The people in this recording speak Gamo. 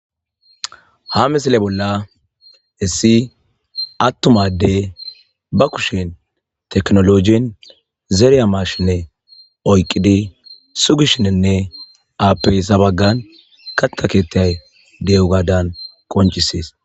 ha misile bolla issi attuma adey ba kushen teknologin zeereya marshinne oyqqidi sugishinenne aappeysabaggan katta keettaay de7ugadan qonchisees